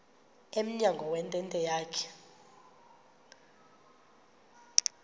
emnyango wentente yakhe